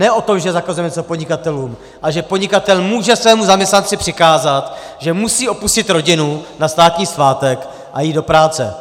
Ne o tom, že zakazujeme něco podnikatelům, ale že podnikatel může svému zaměstnanci přikázat, že musí opustit rodinu na státní svátek a jít do práce.